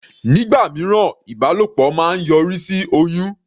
Nígbà mìíràn, ìbálòpọ̀ máa ń yọrí sí oyún.